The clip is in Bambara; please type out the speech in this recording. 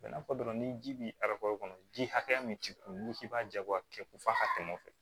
n'a fɔ dɔrɔn ni ji bi kɔnɔ ji hakɛya min t'i kun n'i k'i b'a ja bɔ a kɛ ko f'a ka tɛmɛ o fɛ